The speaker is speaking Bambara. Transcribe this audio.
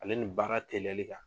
Ale ni baara teliyali kan.